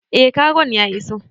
Eh kagon ya iso